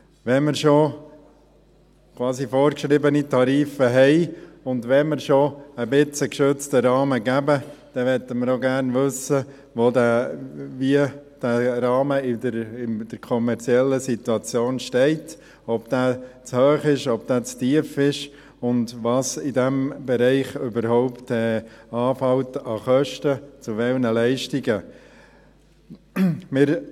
Wenn wir schon quasi vorgeschriebene Tarife haben, und wenn wir schon teilweise einen geschützten Rahmen geben, dann möchten wir auch gerne wissen, wo dieser Rahmen in der kommerziellen Situation steht, ob er zu hoch ist, ob er zu tief ist, und was in diesem Bereich überhaupt an Kosten für welche Leistungen anfällt.